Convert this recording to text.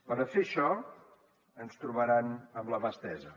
per a fer això ens trobaran amb la mà estesa